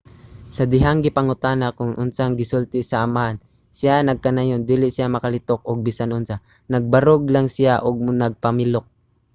sa dihang gipangutana kon unsa ang gisulti sa amahan siya nagkanayon dili siya makalitok og bisan unsa - nagbarog lang siya ug nagpamilok.